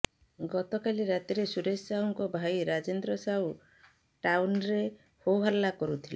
ଗତକାଲି ରାତିରେ ସୁରେଶ ସାହୁଙ୍କ ଭାଇ ରାଜେନ୍ଦ୍ର ସାହୁ ଟାଉନ୍ରେ ହୋହଲ୍ଲା କରୁଥିଲେ